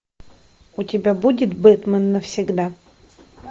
у тебя будет бэтмен навсегда